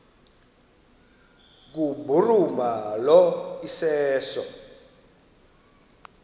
kubhuruma lo iseso